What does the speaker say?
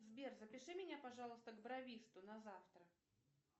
сбер запиши меня пожалуйста к бровисту на завтра